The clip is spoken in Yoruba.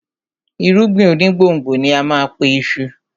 Irúgbìn onígbòǹgbò ni á má a pe iṣu